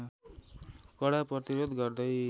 कडा प्रतिरोध गर्दै